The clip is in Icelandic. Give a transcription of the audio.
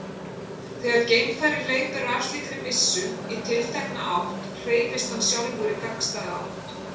Þegar geimfari hleypir af slíkri byssu í tiltekna átt hreyfist hann sjálfur í gagnstæða átt.